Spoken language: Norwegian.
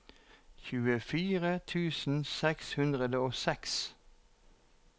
tjuefire tusen seks hundre og seks